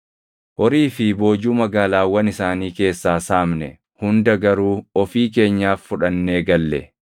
Horii fi boojuu magaalaawwan isaanii keessaa saamne hunda garuu ofii keenyaaf fudhannee galle.